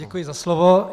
Děkuji za slovo.